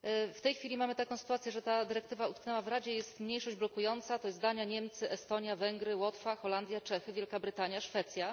W tej chwili mamy taką sytuację, że ta dyrektywa utknęła w Radzie, jest mniejszość blokująca, to jest Dania, Niemcy, Estonia, Węgry, Łotwa, Holandia, Czechy, Wielka Brytania, Szwecja.